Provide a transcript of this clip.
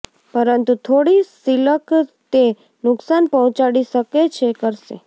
પરંતુ થોડી સિલક તે નુકસાન પહોંચાડી શકે છે કરશે